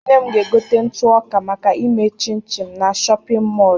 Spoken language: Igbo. Nne m ga-egote ntụọka, maka ime shịnshịn, na shọpịn mọọlụ.